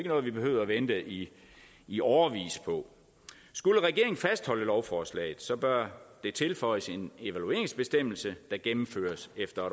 noget vi behøvede at vente i i årevis på skulle regeringen fastholde lovforslaget bør det tilføjes en evalueringsbestemmelse der gennemføres efter